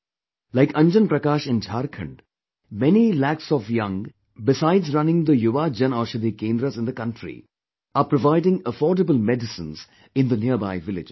Like Anjan Prakash in Jharkhand, many lakhs of young besides running the Yuva Jan Aushidhi kendras in the country are providing affordable medicines in the nearby villages